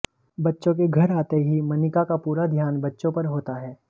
बच्चों के घर आते ही मनिका का पूरा ध्यान बच्चों पर होता है